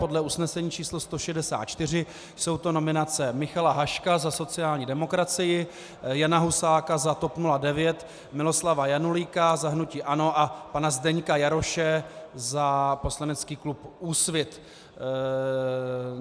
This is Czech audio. Podle usnesení číslo 164 jsou to nominace Michala Haška za sociální demokracii, Jana Husáka za TOP 09, Miloslava Janulíka za hnutí ANO a pana Zdeňka Jaroše za poslanecký klub Úsvit.